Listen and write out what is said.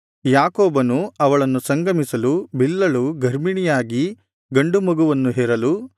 ಯಾಕೋಬನು ಅವಳನ್ನು ಸಂಗಮಿಸಲು ಬಿಲ್ಹಳು ಗರ್ಭಿಣಿಯಾಗಿ ಗಂಡು ಮಗುವನ್ನು ಹೆರಲು